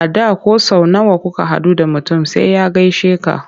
A da ko sau nawa kuka haɗu da mutum sai ya gaishe ka.